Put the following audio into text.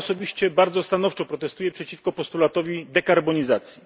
Ja osobiście bardzo stanowczo protestuję przeciwko postulatowi dekarbonizacji.